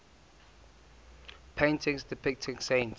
paintings depicting saints